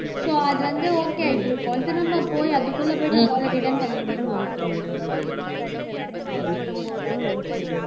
so அது வந்து okay ஆயிட்டு இருக்கும் திரும்ப போய் அதுக்குள்ள போயிட்டு முதல்ல return பண்ண முடியுமா